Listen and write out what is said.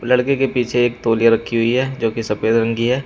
लड़के के पीछे एक तौलिया रखी हुई है जो की सफेद रंग की है।